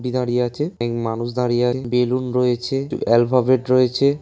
ব দাঁড়িয়ে আছে। এই মানুষ দাঁড়িয়ে আছে। বেলুন রয়েছে এলফাবেট রয়েছে।